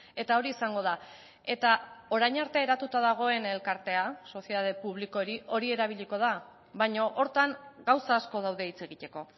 eta hori izango da eta orain arte eratuta dagoen elkartea sozietate publiko hori hori erabiliko da baina horretan gauza asko daude hitz egiteko